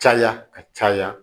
Caya ka caya